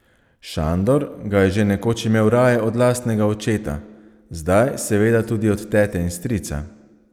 Šandor ga je že nekoč imel raje od lastnega očeta, zdaj seveda tudi od tete in strica.